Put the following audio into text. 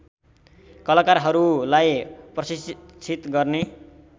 कलाकारहरूलाई प्रशिक्षित गर्ने